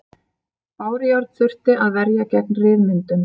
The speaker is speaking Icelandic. Bárujárn þurfti að verja gegn ryðmyndun.